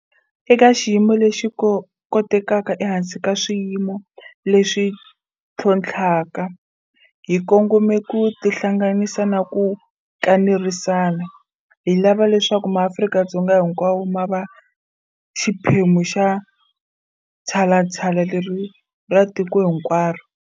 Eka xiyimo lexi kotekaka ehansi ka swiyimo leswi ntlhontlhaka, hi kongome ku tihlanganisa na ku kanerisana. Hi lava leswaku MaAfrika-Dzonga hinkwawo ma va xiphemu xa tshalatshala leri ra tiko hinkwaro.